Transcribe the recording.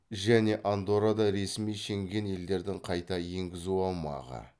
және андоррада ресми шенген елдердің қайта енгізу аумағы